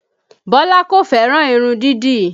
Bọlá kò fẹ́ràn irun dídì